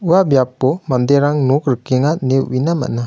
ua biapo manderang nok rikenga ine uina man·a.